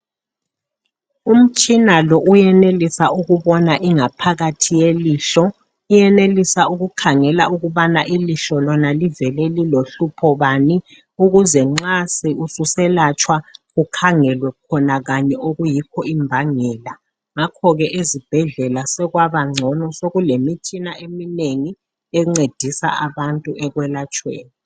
umtshina lo uyenelisa ukubona ingaphakathi yelihlo ,uyenelisa ukukhangela ukubana ilihlo lona livele lilohlupho bani ukuze nxa seliselatshwa kukhangele khona kanye okuyikho imbangela ngakho ezibhedlela sekwaba ngcono sekulemitshina eminengi encedisa abantu ekwelatshweni